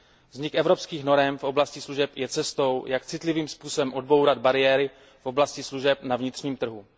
Vznik evropských norem v oblasti služeb je cestou, jak citlivým způsobem odbourat bariéry v oblasti služeb na vnitřním trhu.